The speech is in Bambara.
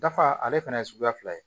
Dafa ale fana ye suguya fila ye